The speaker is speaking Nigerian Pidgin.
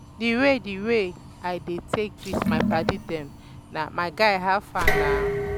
di way di way i dey take greet my padi dem na "my guy how far na?"